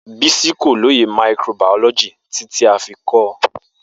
Bisi ko loye microbiology titi a fi kọ ọ